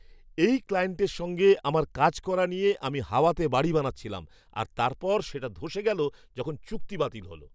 এই ক্লায়েন্টের সঙ্গে আমার কাজ করা নিয়ে আমি হাওয়াতে বাড়ি বানাচ্ছিলাম আর তারপর সেটা ধসে গেল যখন চুক্তি বাতিল হল!